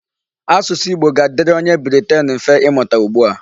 Asụsụ Igbo ga-adịrị onye Briten mfe imụta ugbu a.